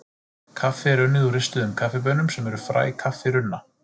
Kaffi er unnið úr ristuðum kaffibaunum sem eru fræ kaffirunna.